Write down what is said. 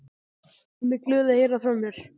Hún er glöð að heyra frá mér.